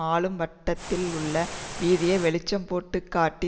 ஆளும் வட்டாரத்தில் உள்ள பீதியை வெளிச்சம்போட்டு காட்டி